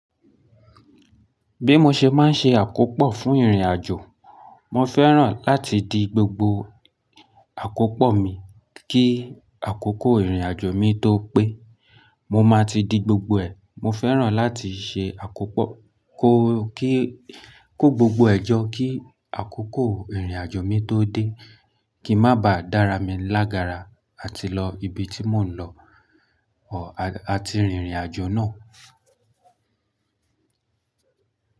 Bí mo ṣe máa ń ṣe àkópọ̀ fún ìrìnàjò, mo fẹ́ràn láti di gbogbo àkópọ̀ mi kí àkókò ìrìnàjò mi tó pé. Mo máa ti di gbogbo ẹ̀. Mo fẹ́ràn láti ṣe àkópọ̀ kó kí kó gbogbo ẹ̀ jọ kí àkókò ìrìnàjò mi tó dé, kí má baà dára mi lágara àti lọ ibi tí mò ń lọ o àti rinrìnàjò náà.